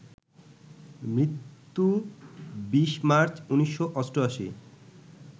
মৃত্যু ২০ মার্চ ১৯৮৮